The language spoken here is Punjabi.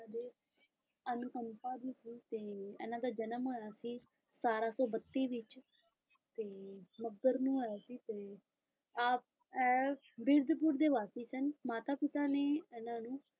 ਅੰਕੰਪਾ ਜੀ ਸੀ ਤੇ ਇਹਨਾਂ ਦਾ ਜਨਮ ਹੋਇਆ ਸੀ ਸਤਾਰਾਂ ਸੌ ਬੱਤੀ ਵਿੱਚ ਤੇ ਮੱਘਰ ਨੂੰ ਹੋਇਆ ਸੀ ਤੇ ਆਪ ਐ ਬੀਰਦਪੁਰ ਦੇ ਵਾਸੀ ਸਨ ਮਾਤਾ ਪਿਤਾ ਨੇ ਇਹਨਾਂ ਨੂੰ